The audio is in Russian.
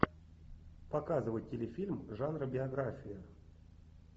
показывай телефильм жанра биография